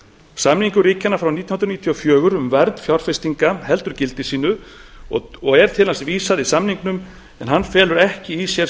samningur ríkjanna frá nítján hundruð níutíu og fjögur um vernd fjárfestinga heldur gildi sínu og er til hans vísað í samningnum en hann felur ekki í sér